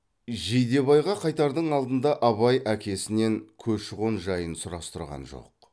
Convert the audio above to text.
жидебайға қайтардың алдында абай әкесінен көші қон жайын сұрастырған жоқ